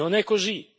Non è così!